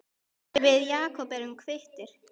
Við Jakob erum kvittir